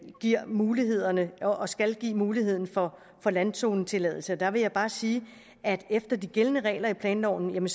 giver mulighederne og skal give muligheden for landzonetilladelse der vil jeg bare sige at efter de gældende regler i planloven